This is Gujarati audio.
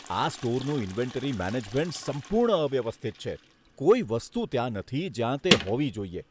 આ સ્ટોરનું ઇન્વેન્ટરી મેનેજમેન્ટ સંપૂર્ણ અવ્યવસ્થિત છે. કોઈ વસ્તુ ત્યાં નથી, જ્યાં તે હોવી જોઈએ.